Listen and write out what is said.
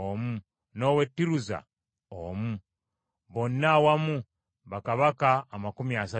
n’ow’e Tiruza omu. Bonna awamu bakabaka amakumi asatu mu omu. Amawanga Agaali Tegannawangulwa